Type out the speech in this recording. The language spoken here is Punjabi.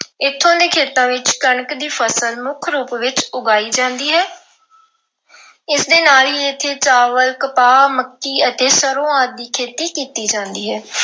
ਇੱਥੋਂ ਦੇ ਖੇਤਾਂ ਵਿੱਚ ਕਣਕ ਦੀ ਫਸਲ ਮੁੱਖ ਰੂਪ ਵਿੱਚ ਉਗਾਈ ਜਾਂਦੀ ਹੈ। ਇਸ ਦੇ ਨਾਲ ਹੀ ਇੱਥੇ ਚਾਵਲ, ਕਪਾਹ, ਮੱਕੀ ਅਤੇ ਸਰ੍ਹੋਂ ਆਦਿ ਦੀ ਖੇਤੀ ਕੀਤੀ ਜਾਂਦੀ ਹੈ।